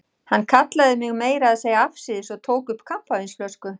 Hann kallaði mig meira að segja afsíðis og tók upp kampavínsflösku.